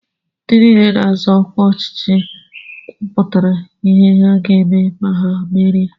Ndị nile na-azọ ọkwa ọchịchị kwụpụtara ihe ha ga-eme ma ha merie.